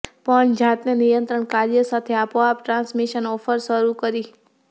પણ જાતે નિયંત્રણ કાર્ય સાથે આપોઆપ ટ્રાન્સમિશન ઓફર શરૂ કરી